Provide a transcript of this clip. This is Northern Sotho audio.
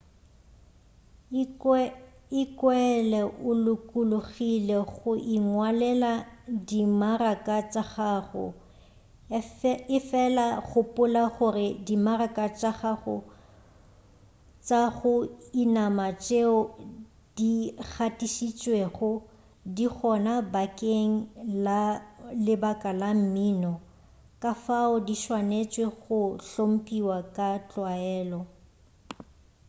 ikwele o lokologile go ingwalela dimaraka tša gago efela gopola gore dimaraka tša go inama tšeo digatišitšwego di gona bakeng la lebaka la mmino kafao di swanetše go hlompiwa ka tlwaelo